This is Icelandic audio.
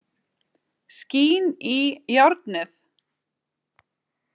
Skín í járnið.